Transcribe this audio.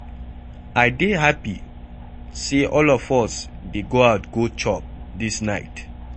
I dey happy say all of us dey go out go chop dis night.